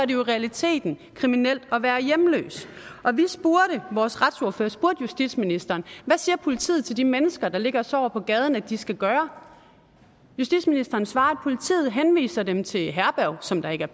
jo i realiteten kriminelt at være hjemløs vores retsordfører spurgte justitsministeren hvad siger politiet til de mennesker der ligger og sover på gaderne at de skal gøre justitsministeren svarede at politiet henviser dem til herberg som der ikke er